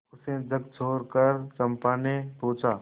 उसे झकझोरकर चंपा ने पूछा